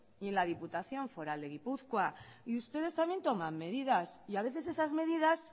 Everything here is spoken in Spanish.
y en la diputación foral de guipúzcoa y ustedes también toman medidas y a veces esas medidas